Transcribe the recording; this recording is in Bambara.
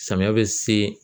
Samiyɛ bɛ se